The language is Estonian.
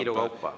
Viilu kaupa.